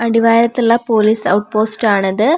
അടിവാരത്തുള്ള police outpost ആണ് ഇത്ആ--